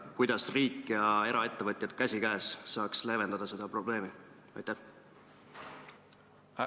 Kuidas riik ja eraettevõtjad käsikäes saaks seda probleemi leevendada?